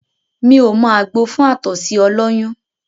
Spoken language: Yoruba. Mí ò mọ àgbo fún àtọ̀sí ọlọ́yún